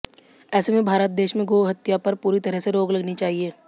ऐसे में भारत देश में गोहत्या पर पूरी तरह से रोक लगनी चाहिए